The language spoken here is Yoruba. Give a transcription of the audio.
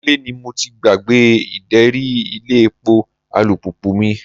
Ilé ni mo ti gbàgbé ideri ilé epo alùpùpù mi.